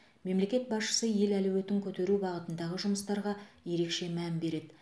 мемлекет басшысы ел әлеуетін көтеру бағытындағы жұмыстарға ерекше мән береді